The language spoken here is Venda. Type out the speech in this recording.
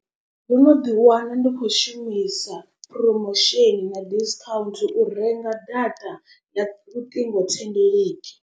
Ndo no ḓi wana ndi khou shumisa promotion na discount u renga data ya luṱingo thendeleki.